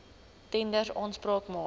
tenders aanspraak maak